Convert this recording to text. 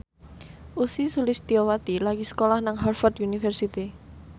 Ussy Sulistyawati lagi sekolah nang Harvard university